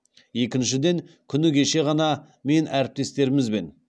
екіншіден күні кеше ғана мен әріптестерімізбен